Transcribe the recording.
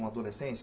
Uma adolescência?